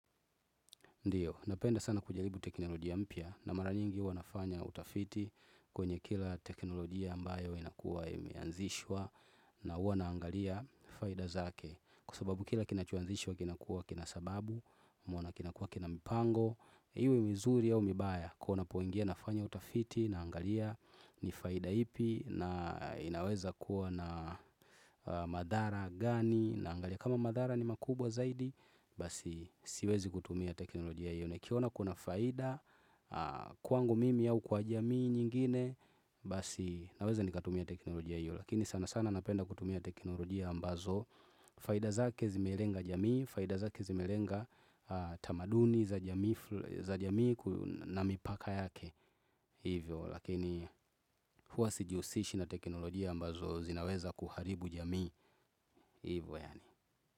Ndiyo, napenda sana kujaribu teknolojia mpya na mara nyingi huwa nafanya utafiti kwenye kila teknolojia ambayo inakuwa imeanzishwa na huwa nanaangalia faida zake. Kwasababu kila kinachoanzishwa kinakuwa kina sababu, mwana kinakua kina mipango, iwe mizuri au mibaya kuwa napoingia nafanya utafiti naangalia ni faida ipi na inaweza kuwa na na madhara gani naangalia. Kama madhara ni makubwa zaidi, basi siwezi kutumia teknolojia hiyo nikiona kuna faida Kwangu mimi au kwa jamii nyingine, basi naweza nikatumia teknolojia hiyo. Lakini sanasana napenda kutumia teknolojia ambazo faida zake zimelenga jamii, faida zake zimelenga ah tamaduni za jamii ful za jamii ku na mipaka yake Hivyo lakini, huwa sijiusishi na teknolojia ambazo zinaweza kuharibu jamii hivo yaani.